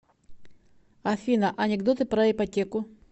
афина анекдоты про ипотеку